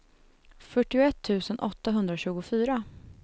fyrtioett tusen åttahundratjugofyra